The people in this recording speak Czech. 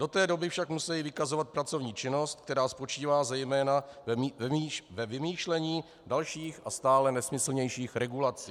Do té doby však musejí vykazovat pracovní činnost, která spočívá zejména ve vymýšlení dalších a stále nesmyslnějších regulací.